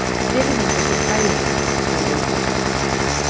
Virðingu fyrir faginu, sagði Vilborg.